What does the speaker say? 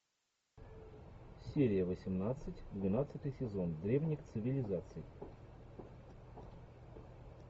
серия восемнадцать двенадцатый сезон древних цивилизаций